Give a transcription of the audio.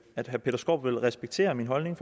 at herre peter skaarup vil respektere min holdning